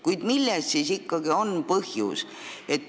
Kuid milles on siis ikkagi põhjus?